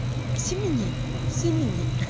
симени симени